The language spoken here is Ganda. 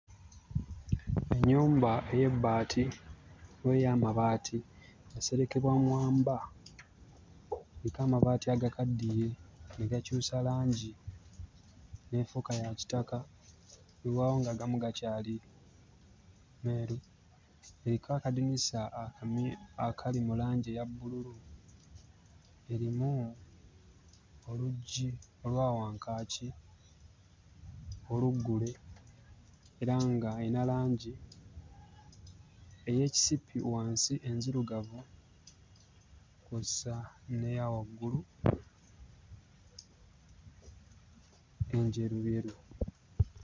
Ennyumba ey'ebbaati oba ey'amabaati yaserekebwa mwamba eriko amabaati agakaddiye ne gakyusa langi n'efuuka ya kitaka, weewaawo ng'agamu gakyali meeru. Eriko akadinisa akamyu akali mu langi eya bbululu, erimu oluggi olwa wankaaki oluggule era ng'eyina langi ey'ekisipi wansi enzirugavu kw'ossa n'eya waggulu enjeruyeru.